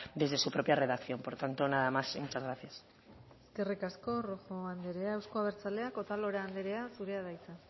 desde su propia redacción por tanto nada más y muchas gracias eskerrik asko rojo anderea euzko abertzaleak otalora anderea zurea da hitza